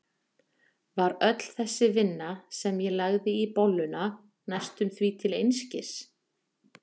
Var öll þessi vinna, sem ég lagði í bolluna, næstum því til einskis?